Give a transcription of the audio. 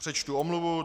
Přečtu omluvu.